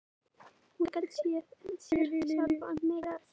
Hún gat séð fyrir sér sjálf, hafði meira að segja lært það á þremur mánuðum.